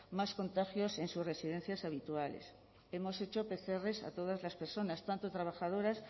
más contagios en sus residencias habituales hemos hecho pcr a todas las personas tanto trabajadoras